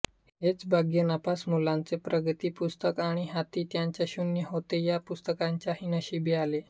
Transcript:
हेच भाग्य नापास मुलांचे प्रगतीपुस्तक आणि हाती ज्यांच्या शून्य होते या पुस्तकांच्याही नशिबी आले